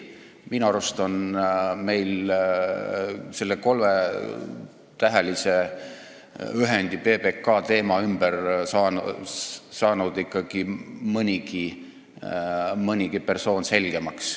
Minu arust on meil selle kolmetähelise ühendi PBK teema ümber saanud ikka mõnigi persoon selgemaks.